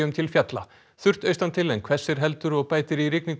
til fjalla þurrt austan til en hvessir heldur og bætir í